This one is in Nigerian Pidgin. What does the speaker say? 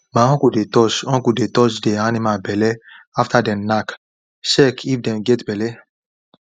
my uncle dey touch uncle dey touch the animal belle after them knack check if them get belle